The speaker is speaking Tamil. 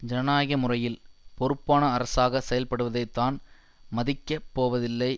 ஜனநாயக முறையில் பொறுப்பான அரசாக செயல்பட்டுவதை தான் மதிக்கப் போவதில்லை